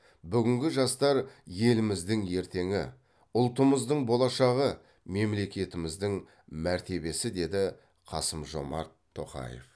бүгінгі жастар елімізді ертеңі ұлтымыздың болашағы мемлекетіміздің мәртебесі деді қасым жомарт тоқаев